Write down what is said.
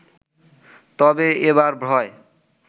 তবে এবার ভয়